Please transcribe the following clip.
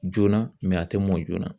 Joona, mɛ a tɛ mɔn joona.